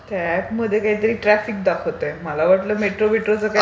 त्या एपमध्ये काहीतरी ट्राफिक दाखवतेय मला. मला वाटलं मेट्रो बिट्रोचं काही...